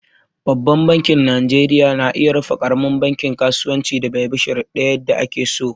Babban banki najeriya na iya rufe ƙaramin bankin kasuwancin da bai bin shuruɗa yadda ake so.